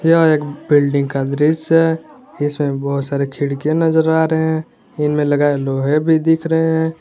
यह एक बिल्डिंग का दृश्य है इसमें बहुत सारे खिड़कियां नजर आ रहे हैं इनमें लगाये लोहे भी दिख रहे हैं।